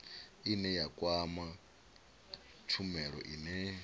ine ya kwama tshumelo ine